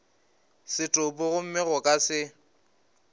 setopo gomme go ka se